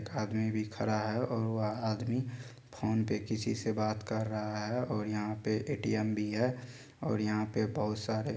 एक आदमी भी खड़ा है और वह आदमी फ़ोन पे किसीसे बात कर रहा है और यहाँ पे एटीएम भी है और यहां पे बहुत सारे--